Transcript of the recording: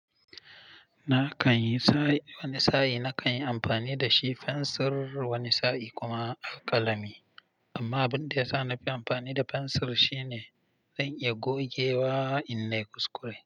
Na kan yi sa wani sa'i, na kan yi amfani da shi fensir wani sa'i kuma alkalami. Amman abunda yasa nafi amfani da fensir zan iya gogewa in nai kuskure.